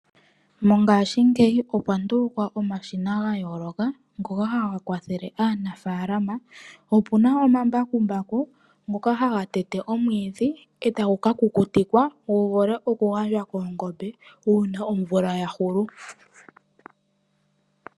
Mongashingeyi okwa ndulukwa omashina ga yooloka ngonohaga kwathele aanafalama. Ope na omashina ngoka haga tete omwiidhi etagu ka kukutikwa gu vule oku gandjwa koongombe uuna omvula ya hulu.